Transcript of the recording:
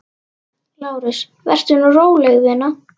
LÁRUS: Vertu nú róleg, vina.